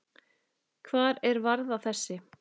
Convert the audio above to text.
Hvar er varða þessi?